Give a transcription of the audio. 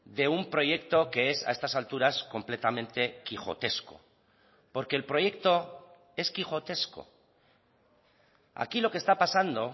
de un proyecto que es a estas alturas completamente quijotesco porque el proyecto es quijotesco aquí lo que está pasando